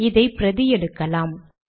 இதை பிரதி எடுக்கலாம்